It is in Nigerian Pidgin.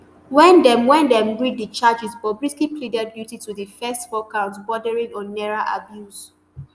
wen dem wen dem read di charges bobrisky pleaded guilty to di first four counts bordering on naira abuse